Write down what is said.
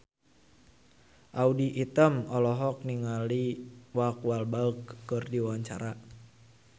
Audy Item olohok ningali Mark Walberg keur diwawancara